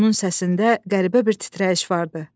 Onun səsində qəribə bir titrəyiş vardı.